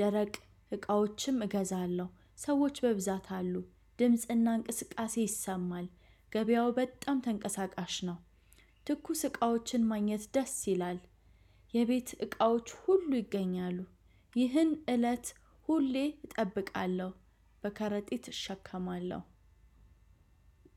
ደረቅ እቃዎችም እገዛለሁ ሰዎች በብዛት አሉ ድምጽና እንቅስቃሴ ይሰማል ገበያው በጣም ተንቀሳቃሽ ነው። ትኩስ እቃዎችን ማግኘት ደስ ይላል። የቤት እቃዎች ሁሉ ይገኛሉ። ይህን እለት ሁሌ እጠብቃለው። በከረጢጥ እሸከማለሁ።